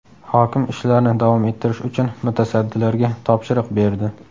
Hokim ishlarni davom ettirish uchun mutasaddilarga topshiriq berdi.